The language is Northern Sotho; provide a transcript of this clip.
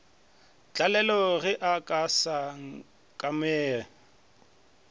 tlalelo ge a sa akame